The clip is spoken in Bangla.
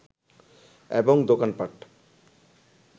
এবং দোকান-পাট